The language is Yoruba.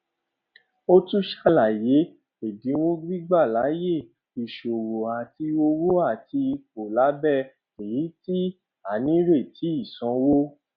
o tun ṣalaye ẹdinwo gbigba laaye isowo ati owo ati ipo labẹ eyiti a nireti isanwo